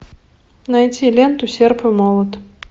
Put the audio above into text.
найти ленту серп и молот